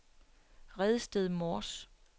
Redsted Mors